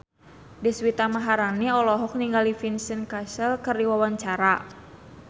Deswita Maharani olohok ningali Vincent Cassel keur diwawancara